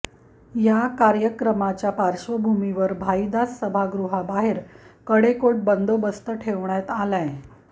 या कार्यक्रमाच्या पार्श्वभूमीवर भाईदास सभागृबाहेर कडेकोट बंदोबस्त ठेवण्यात आलाय